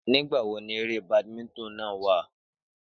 Nígbà wo ni eré badminton náà wà?